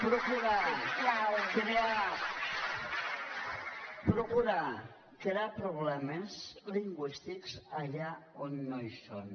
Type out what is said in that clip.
procurar crear problemes lingüístics allà on no hi són